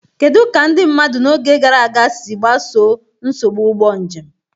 Kedu ka ndị mmadụ n'oge gara aga si gbasoo nsogbu ụgbọ njem?